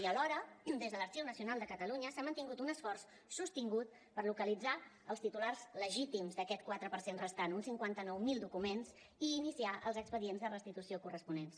i alhora des de l’arxiu nacional de catalunya s’ha mantingut un esforç sostingut per localitzar els titulars legítims d’aquest quatre per cent restant uns cinquanta nou mil documents i iniciar els expedients de restitució corresponents